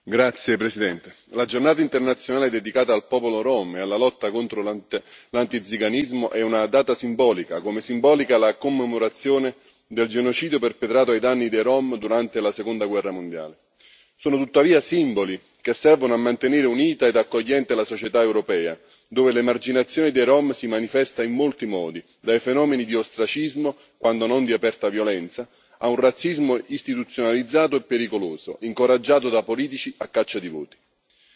Signora Presidente, onorevoli colleghi, la giornata internazionale dedicata al popolo rom e alla lotta contro l'antiziganismo è una data simbolica, come simbolica è la commemorazione del genocidio perpetrato ai danni dei rom durante la seconda guerra mondiale. Sono tuttavia simboli che servono a mantenere unita ed accogliente la società europea, dove l'emarginazione dei rom si manifesta in molti modi, dai fenomeni di ostracismo, quando non di aperta violenza, a un razzismo istituzionalizzato e pericoloso, incoraggiato da politici a caccia di voti.